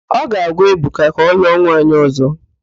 Ọ ga-agwa Ebuka ka ọlụọ nwaanyị ọ̀zọ́.